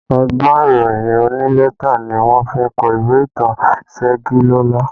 Ọgbọ́n ìròyìn onílẹ́tà ni wọ́n fi kọ ìwé ìtàn Segilola